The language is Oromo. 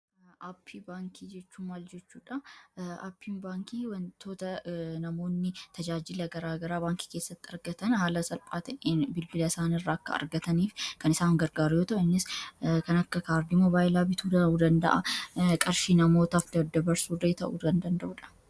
Appii bankii jechuu maal jechuudhaa ,appii baankii wantoota namoonni tajaajilaa garaagaraa baankii keessatti argataan haala salphaan bilbiila isaan irraa akka argaataniif kan isaan gargaaru ta'u innis kan akka kaardii mobaayilaa bituu danda'a qarshii namootaaf dadaabarsuuf ta'u dandaa'uudha.